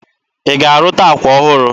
Ị ga-arụta akwa ọhụrụ?